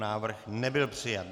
Návrh nebyl přijat.